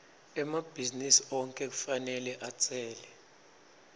emabhizinisi onkhe kufanele atsele